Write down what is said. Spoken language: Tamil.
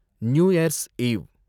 new year's eve